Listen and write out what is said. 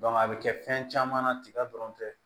a bɛ kɛ fɛn caman na tiga dɔrɔn tɛ